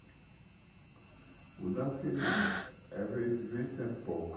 Não dá, porque... Eh vezes vezes é pouco.